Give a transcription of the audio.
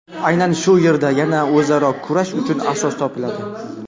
Aynan shu yerda yana o‘zaro kurash uchun asos topiladi.